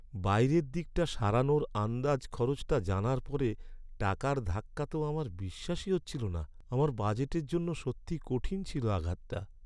বাইরের দিকটা সারানোর আন্দাজ খরচটা জানার পরে টাকার ধাক্কা তো আমার বিশ্বাসই হচ্ছিল না। আমার বাজেটের জন্য সত্যিই কঠিন ছিল আঘাতটা।